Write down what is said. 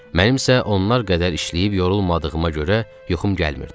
Mənim isə onlar qədər işləyib yorulmadığıma görə yuxum gəlmirdi.